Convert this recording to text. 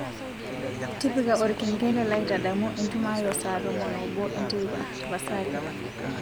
tipika olkengele laitadamu entumo ai ee saa tomon oobo enteipa tapasali